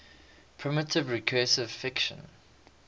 primitive recursive function